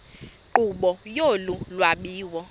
nkqubo yolu lwabiwo